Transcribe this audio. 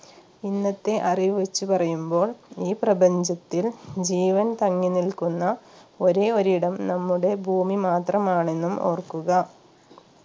ഇന്നത്തെ അറിവ് വെച്ച് പറയുമ്പോൾ ഈ പ്രപഞ്ചത്തിൽ ജീവൻ തങ്ങി നിൽക്കുന്ന ഒരേ ഒരു ഇടം നമ്മുടെ ഭൂമി മാത്രമാണെന്നും ഓർക്കുക